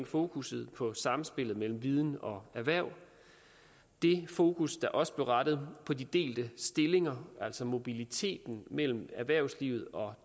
fokus på samspillet mellem viden og erhverv det fokus der også blev rettet på de delte stillinger altså mobiliteten mellem erhvervslivet og